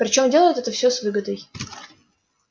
причём делают это все с выгодой